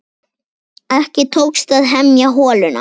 Ekki tókst að hemja holuna.